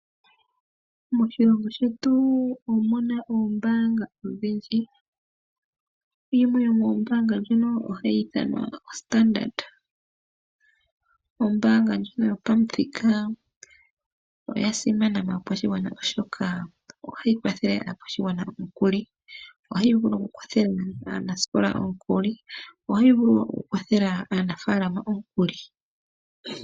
Moshilongo shetu omuna oombaanga odhindji, yimwe yo moombaanga dhono ohayi ithanwa oStandard. Ombaanga ndjono yo pamuthika, oya simana kaakwashigwana oshoka ohayi kwathele aakwashigwana omikuli. Ohayi vulu oku kwathela aanasikola omukuli, ohayi vulu wo oku kwathela aanafaalama omukuli.